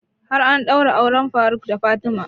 Har an ɗaura auren faruk da fatima